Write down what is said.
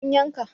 Eh an yanka